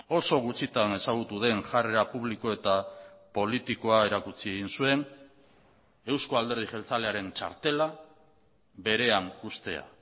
oso gutxitan ezagutu den jarrera publiko eta politikoa erakutsi egin zuen euzko alderdi jeltzalearen txartela berean uztea